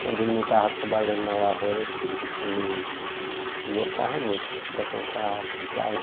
Quando ele não estava trabalhando na lavoura, ele ele gostava muito de frequentar garimpo.